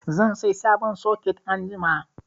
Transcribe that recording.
Zan sai sabon soket anjima.